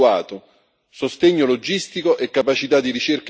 sostegno logistico e capacità di ricerca e innovazione.